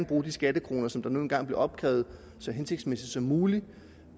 bruge de skattekroner som der nu engang bliver opkrævet så hensigtsmæssigt som muligt